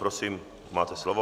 Prosím, máte slovo.